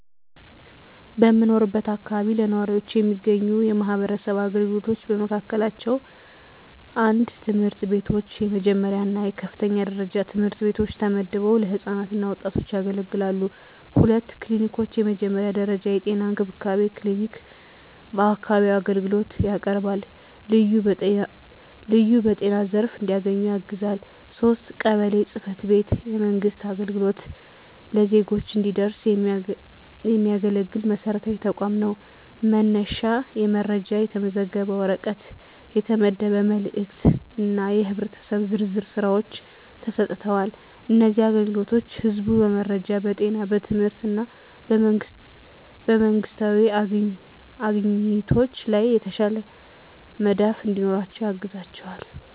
በምኖርበት አካባቢ ለነዋሪዎች የሚገኙ የማህበረሰብ አገልግሎቶች በመካከላቸው፣ 1. ትምህርት ቤቶች፣ የመጀመሪያ እና የከፍተኛ ደረጃ ትምህርት ቤቶች ተመድበው ለህፃናት እና ወጣቶች ያገለግላሉ። 2. ክሊኒኮች፣ የመጀመሪያ ደረጃ የጤና እንክብካቤ ክሊኒክ በአካባቢው አገልግሎት ያቀርባል፣ ልዩ በጤና ዘርፍ አግድዶች እንዲያገኙ ያግዛል። 3. ቀበሌ ጽ/ቤት፣ የመንግሥት አገልግሎት ለዜጎች እንዲደረስ የሚያገለግል መሰረታዊ ተቋም ነው፤ መነሻ የመረጃ፣ የተመዘገበ ወረቀት፣ የተመደበ መልእክት እና የህብረተሰብ ዝርዝር ሥራዎች ተሰጥተዋል። እነዚህ አገልግሎቶች ህዝቡ በመረጃ፣ በጤና፣ በትምህርት እና በመንግስታዊ አግኝቶች ላይ የተሻለ መዳፍ እንዲኖራቸው ያግዛቸዋል።